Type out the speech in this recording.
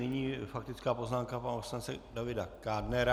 Nyní faktická poznámka pana poslance Davida Kádnera.